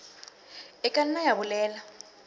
e ka nna ya bolela